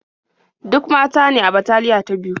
Duk mata ne a bataliya ta biyu.